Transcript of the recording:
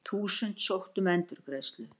Þúsundir sóttu um endurgreiðslu